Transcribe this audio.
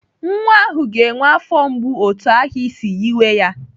Nwa ahụ ga-enwe afọ mgbu otu ahụ isi yiwe ya.